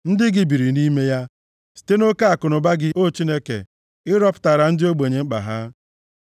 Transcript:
Ndị gị biri nʼime ya, site nʼoke akụnụba gị, O Chineke, ị rọpụtaara ndị ogbenye mkpa ha.